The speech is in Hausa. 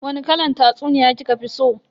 Wani kalan tatsuniya kika fi so?